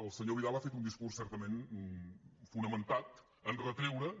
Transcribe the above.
el senyor vidal ha fet un discurs certament fonamentat en retreure